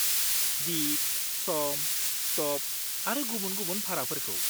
दिग, सम, स्ट'प आरो गुबुन-गुबुन भाराफोरखौ।